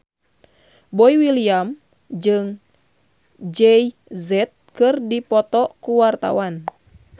Boy William jeung Jay Z keur dipoto ku wartawan